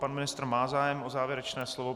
Pan ministr má zájem o závěrečné slovo.